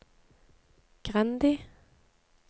Grendi